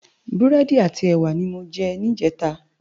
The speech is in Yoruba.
Búrédi áti èwá ni mó jè nijètá